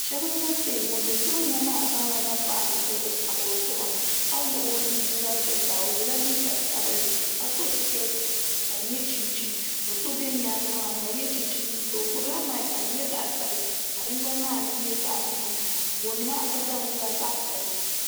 Shab n ʒɛ stɛji ŋun ʒɛ tooni na maa zaŋla napaɣa bini tam o zuɣuni ka wuɣi o nu yinga zuɣusaa o yɛla liiga sabinli ka so sikɛti ka di nyɛ chinchin do so bɛ nyaangi maa n gba yɛ chinchin liiga o gbubila maik ka di nyɛ zaɣ sabinli gooni maa nyɛla zaɣ piɛlli